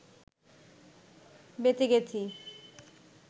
বেঁচে গেছি